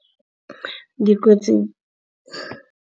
Dikotsi.